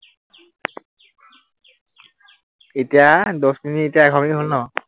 এতিয়া দহ মিনিট এতিয়া এঘাৰ মিনিট হল ন?